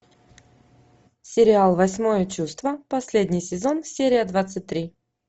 сериал восьмое чувство последний сезон серия двадцать три